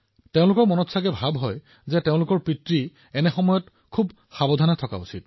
তেওঁলোকে ভাবে যে দেউতা এইটো সময়ত অলপ চম্ভালি থাকিব